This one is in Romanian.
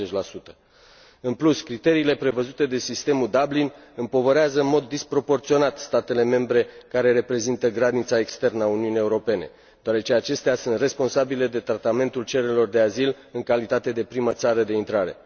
90. În plus, criteriile prevăzute de sistemul Dublin împovărează în mod disproporționat statele membre care reprezintă granița externă a Uniunii Europene, deoarece acestea sunt responsabile de tratamentul cererilor de azil în calitate de primă țară de intrare.